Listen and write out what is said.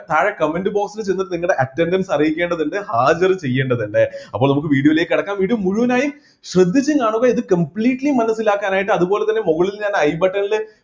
താഴെ comment box ൽ ചെന്ന് നിങ്ങളുടെ attendance അറിയിക്കേണ്ടത് ഉണ്ട് ഹാജർ ചെയേണ്ടതിണ്ട് അപ്പൊ നമുക്ക് video ലേക്ക് കടക്കാം video മുഴുവനായി ശ്രദ്ധിച്ച് കാണുക ഇത് completely മനസ്സിലാക്കാനായിട്ട് അതുപോലെതന്നെ മുകളിൽ ഞാൻ eye button ലെ